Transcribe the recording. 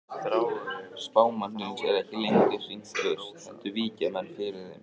Spámannsins er ekki lengur hrint burt heldur víkja menn fyrir þeim.